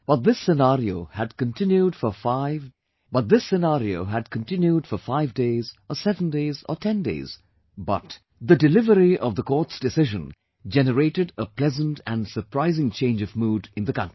But this scenario had continued for five days, or seven days, or ten days, but, the delivery of the court's decision generated a pleasant and surprising change of mood in the country